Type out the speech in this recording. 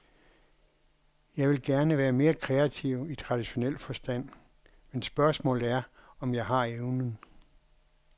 Jeg ville gerne være mere kreativ i traditionel forstand, men spørgsmålet er, om jeg har evnen.